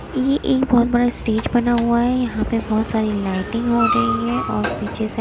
ये एक बहुत बड़ा स्टेज बना हुआ है यहां पे बहुत सारी लाइटिंग हो रही है और पीछे से--